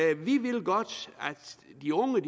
de unge